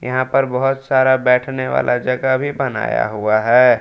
यहां पर बहोत सारा बैठने वाला जगह भी बनाया हुआ है।